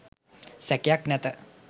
සැකයක් නැත.